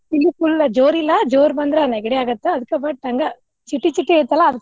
ಇಲ್ಲಿ full ಜೋರ್ ಇಲ್ಲಾ ಜೋರ್ ಬಂದ್ರ್ ನೆಗಡಿ ಅಗತ್ತ್ ಅದ್ಕ ಹಂಗ ಚಿಟಿ ಚಿಟಿ ಐತಲ್ಲಾ ಅದ್.